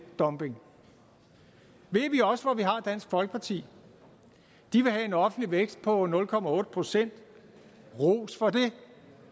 dumping ved vi også hvor vi har dansk folkeparti de vil have en offentlig vækst på nul procent ros for det